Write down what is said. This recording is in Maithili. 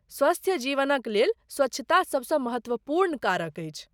स्वस्थ जीवनक लेल स्वच्छता सबसँ महत्वपूर्ण कारक अछि।